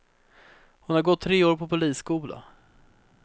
Hon har gått tre år på polisskola.